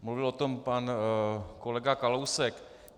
Mluvil o tom pan kolega Kalousek.